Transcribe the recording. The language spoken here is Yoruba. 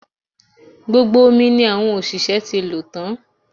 Gbogbo omi ni àwọn òṣìṣẹ́ ti lò tan